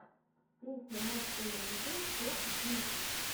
песня мост эмейзинг топ десять